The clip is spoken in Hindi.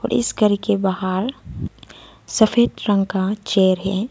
इस घर के बाहर सफेद रंग का चेयर है।